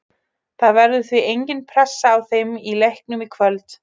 Það verður því engin pressa á þeim í leiknum í kvöld.